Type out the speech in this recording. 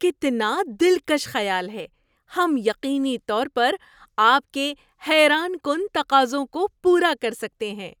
کتنا دلکش خیال ہے! ہم یقینی طور پر آپ کے حیران کن تقاضوں کو پورا کر سکتے ہیں۔